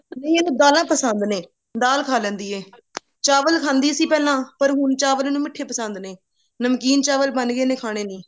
ਨਹੀਂ ਇਹਨੂੰ ਦਾਲਾਂ ਪਸੰਦ ਨੇ ਦਾਲ ਖਾ ਲੇੰਦੀ ਐ ਚਾਵਲ ਖਾਂਦੀ ਸੀ ਪਹਿਲਾਂ ਪਰ ਹੁਣ ਚਾਵਲ ਇਹਨੂੰ ਮਿੱਠੇ ਪਸੰਦ ਨੇ ਨਮਕੀਨ ਚਾਵਲ ਬਣ ਗਏ ਨੇ ਇਹਨੇ ਖਾਣੇ ਨੀ